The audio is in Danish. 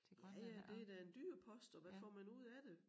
Ja ja det da en dyr post og hvad får man ud af det?